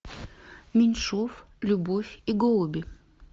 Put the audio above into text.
меньшов любовь и голуби